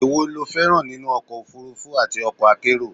èwo lo féràn nínú ọkọ̀ òfurufú àti okọ̀ akérò?